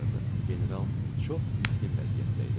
General çox miskin vəziyyətdə idi.